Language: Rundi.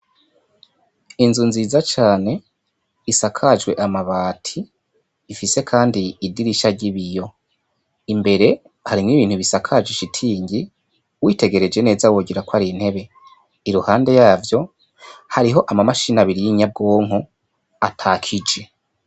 Inzu nziza cane isakajwe amabati ifise kandi idirisha ry' ibiyo imbere harimwo ibintu bisakajije ishitingi witegereje neza wogira ko ari intebe iruhande yavyo hariho amamashini abiri y' inyabwonko atakije.